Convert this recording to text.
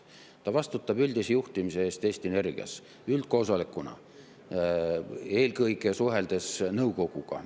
vastutab üldise juhtimise eest Eesti Energias üldkoosolekuna, eelkõige suheldes nõukoguga.